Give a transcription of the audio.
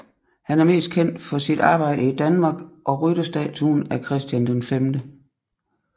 Han er mest kendt for sit arbejde i Danmark og rytterstatuen af Christian V